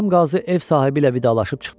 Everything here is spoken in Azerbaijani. Bəhram Qazi ev sahibi ilə vidalaşıb çıxdı.